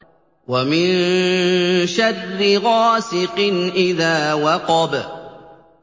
وَمِن شَرِّ غَاسِقٍ إِذَا وَقَبَ